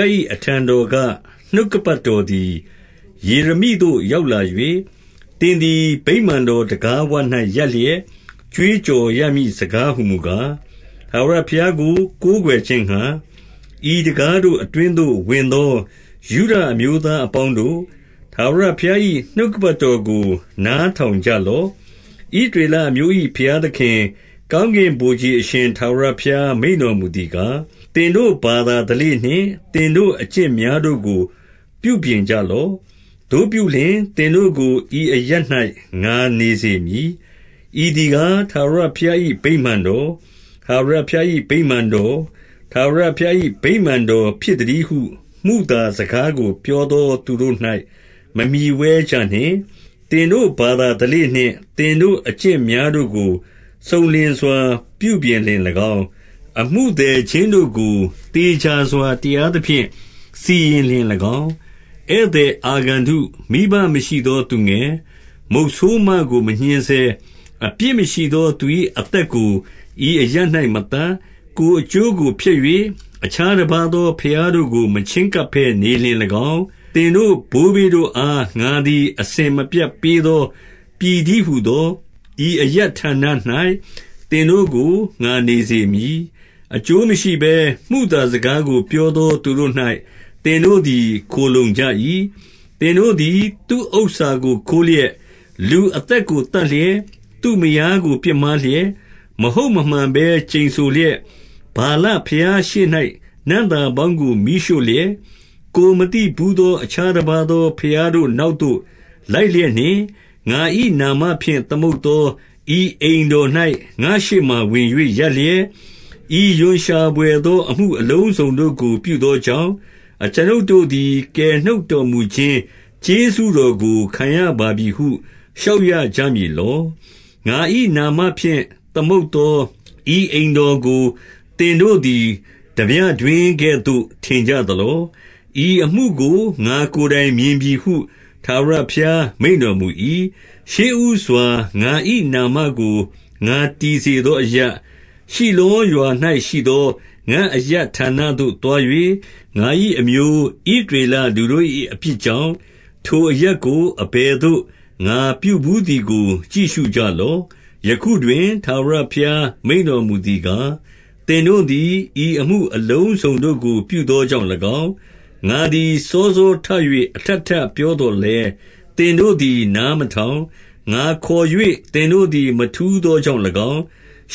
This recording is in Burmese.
ား၏ အထံတော်က နှုတ်ကပတ် တော်သည် ယေရမိသို့ရောက်လာ၍၊ သင်သည် ဗိမာန် တော် တံခါးဝ၌ ရပ်လျက်ကြွေးကြော် ရမည့်စကားဟူ မူကား၊ 2 ထာဝရဘုရားကို ကိုးကွယ်ခြင်းငှါ၊ ဤတံခါးတို့ အတွင်းသို့ ဝင်သောယုဒအမျိုးသား အပေါင်းတို့၊ ထာဝရ ဘုရား၏ နှုတ်ကပတ်တော်ကို နားထောင်ကြလော့။ 3 ဣသရေလအမျိုး၏ ဘုရားသခင်၊ ကောင်းကင် ဗိုလ်ခြေအရှင် ထာဝရဘုရား မိန့်တော်မူသည်ကား၊ သင်တို့ဘာသာ ဓလေ့နှင့် သင်တို့ အကျင့်များတို့ကို ပြုပြင်ကြလော့။ သို့ပြုလျှင် သင်တို့ကို ဤအရပ်၌ ငါနေ စေမည်။ 4 ဤသည်ကား၊ ထာဝရဘုရား၏ ဗိမာန်တော်၊ ထာဝရဘုရား၏ ဗိမာန်တော်၊ ထာဝရဘုရား၏ ဗိမာန်တော်ဖြစ်သတည်းဟု မုသာ စကားကို ပြောသောသူတို့၌ မမှီဝဲကြနှင့်။ 5 သင်တို့ ဘာသာဓလေ့နှင့် သင်တို့အကျင့်များ တို့ကို စုံလင်စွာ ပြုပြင်လျှင်၎င်း၊ အမှုသည်ချင်းတို့ကို သေချာစွာ တရားသဖြင့် စီရင်လျှင်၎င်း၊ 6 ဧည့်သည် အာဂန္တု၊ မိဘမရှိသောသူငယ်၊ မုတ်ဆိုးမကို မညှဉ်းဆဲ၊ အပြစ်မရှိသောသူ၏ အသက်ကိုဤအရပ်၌ မသတ်၊ ကိုယ်အကျိုးကို ဖျက်၍ အခြားတပါးသော ဘုရားတို့ကို မချဉ်းကပ်ဘဲ နေလျှင်၎င်း၊ 7 သင်တို့ဘိုးဘေးတို့အား၊ ငါသည် အစဉ်မပြတ် ပေးသော ပြည်တည်းဟူသော ဤအရပ်ဌာန၌ သင်တို့ကို ငါနေစေမည်။ 8 အကျိုးမရှိဘဲ မုသာစကားကို ပြောသောသူတို့၌ သင်တို့သည် ခိုလှုံကြ၏။ 9 သင်တို့သည် သူ့ဥစ္စာကိုခိုးလျက်၊ လူအသက်ကို သတ်လျက်၊ သူ့မယားကိုပြစ်မှားလျက်၊ မဟုတ်မမှန်ဘဲ ကျိန်ဆိုလျက်၊ ဗာလဘုရားရှေ့၌ နံ့သာပေါင်းကို မီးရှို့ လျက်၊ ကိုယ်မသိဘူးသော အခြားတပါးသော ဘုရားတို့ နောက်သို့လိုက်လျက်နှင့်၊ 10 ငါ၏နာမဖြင့် သမုတ်သော ဤအိမ်တော်၌၊ ငါ့ရှေ့မှာဝင်၍ ရပ်လျက်၊ ဤရွံရှာဘွယ်သော အမှု အလုံးစုံတို့ကို ပြုသောကြောင့်၊ အကျွန်ုပ်တို့သည် ကယ် နှုတ်တော်မူခြင်း ကျေးဇူးတော်ကို ခံရပါပြီဟု လျှောက်ရ ကြမည်လော။ 11 ငါ၏နာမဖြင့် သမုတ်သော ဤအိမ်တော်ကို၊ သင်တို့သည် ထားပြတွင်းကဲ့သို့ ထင်ကြသလော။ ဤအမှု ကို ငါ့ကိုယ်တိုင် မြင်ပြီဟု ထာဝရဘုရား မိန့်တော်မူ၏။ 12 ရှေ့ဦးစွာငါ၏ နာမကို ငါတည်စေသောအရပ်၊ ရှိလောရွာ၌ရှိသော ငါ့အရပ်ဌာနသို့သွား၍၊ ငါ၏အမျိုး ဣသရေလလူတို့၏ အပြစ်ကြောင့်၊ ထိုအရပ်ကို အဘယ်သို့ငါပြုဘူးသည်ကို ကြည့်ရှုကြလော့။ 13 ယခုတွင် ထာဝရဘုရား မိန့်တော်မူသည်ကား၊ သင်တို့သည် ဤအမှုအလုံးစုံတို့ကို ပြုသောကြောင့်၎င်း၊ ငါသည်စောစောထ၍ အထပ်ထပ်ပြောသော်လည်း၊ သင်တို့သည် နားမထောင်၊ ငါခေါ်၍ သင်တို့သည် မထူးသောကြောင့်၎င်း